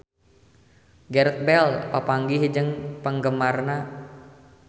Gareth Bale papanggih jeung penggemarna